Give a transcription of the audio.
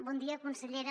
bon dia consellera